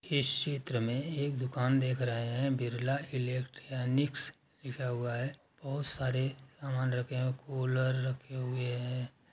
इस चित्र में एक दुकान देख रहे हैं। बिरला इलेक्ट्रॉनिक्स लिखा हुआ है। बहोत सारे सामान रखे हैं। कूलर रखे हुए हैं।